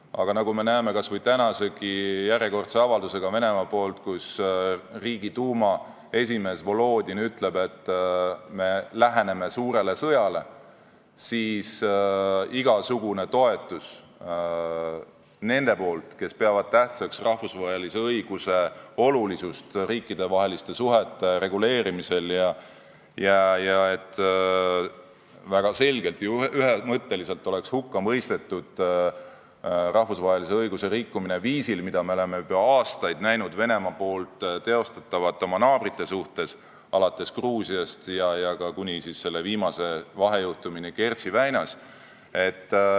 Aga nagu me näeme kas või Venemaa tänasegi järjekordse avalduse põhjal, kus Riigiduuma esimees Volodin ütleb, et me läheneme suurele sõjale, on oluline igasugune toetus nendelt, kes peavad riikidevaheliste suhete reguleerimisel tähtsaks rahvusvahelist õigust, ja on oluline, et väga selgelt ja ühemõtteliselt oleks hukka mõistetud rahvusvahelise õiguse rikkumised, mida me oleme juba aastaid näinud Venemaad teostavat oma naabrite suhtes, alates sündmustest Gruusias kuni viimase vahejuhtumini Kertši väinas.